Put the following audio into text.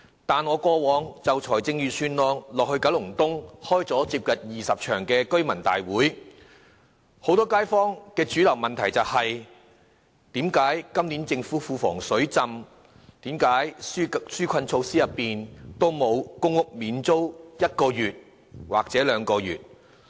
但是，我過往就預算案在九龍東召開了接近20場居民大會，很多街坊的主流問題是：既然今年政府庫房"水浸"，為何紓困措施中沒有公屋免租1個月或2個月？